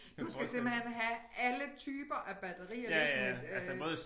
Du skal simpelthen have alle typer af batterier liggende øh